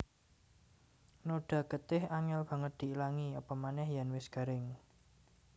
Noda getih angél banget diilangi apamanéh yèn wis garing